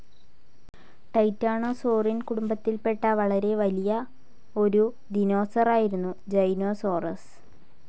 Titanosaurine കുടുംബത്തിൽ പെട്ട വളരെ വലിയ ഒരു ദിനോസറായിരുന്നു ജൈനോസോറസ്.